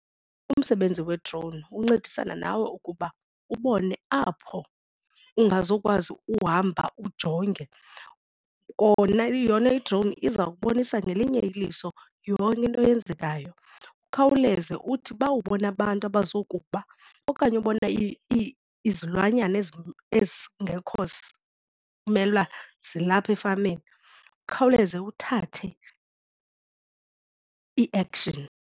Umsebenzi we-drone uncedisana nawe ukuba ubone apho ungazukwazi uhamba ujonge kona yona i-drone iza kubonisa ngelinye iliso yonke into eyenzekayo. Ukhawuleze uthi ba ubona abantu abazokuba okanye ubona izilwanyana ezingekho mele uba zilapha efameni ukhawuleze uthathe i-action.